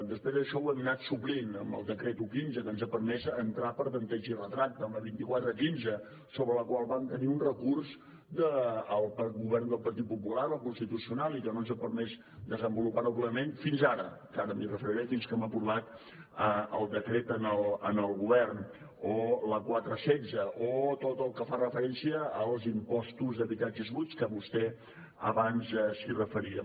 després això ho hem anat suplint amb el decret un quinze que ens ha permès entrar per tempteig i retracte amb la vint quatre quinze sobre la qual vam tenir un recurs del govern del partit popular al constitucional i que no ens ha permès desenvolupar ho plenament fins ara que ara m’hi referiré fins que hem aprovat el decret en el govern o la quatre setze o tot el que fa referència als impostos d’habitatges buits que vostè abans s’hi referia